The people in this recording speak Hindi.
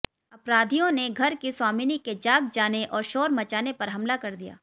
अपराधियों ने घर की स्वामिनी के जाग जाने और शोर मचाने पर हमला कर दिया